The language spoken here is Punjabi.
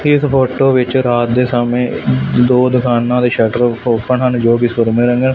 ਇੱਸ ਫ਼ੋਟੋ ਵਿੱਚ ਰਾਤ ਦੇ ਸਮੇਂ ਦੋ ਦੁਕਾਨਾਂ ਦੇ ਸ਼ੱਟਰ ਔਪੇਨ ਹਨ ਜੋਕਿ ਸੂਰਮੇਂ ਰੰਗ--